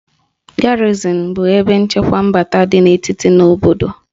Garịzịn bụ ebe nchekwa mbata dị n'etiti na obodo